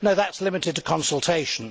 No, that is limited to consultation.